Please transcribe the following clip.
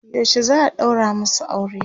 yaushe za'a ɗaura masu aure?